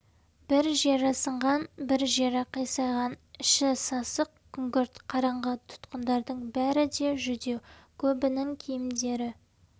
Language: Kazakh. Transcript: бір жері сынған бір жері қисайған іші сасық күңгірт қараңғы тұтқындардың бәрі де жүдеу көбінің киімдері